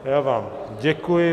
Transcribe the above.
Já vám děkuji.